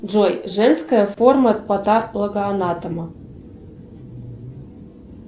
джой женская форма патологоанатома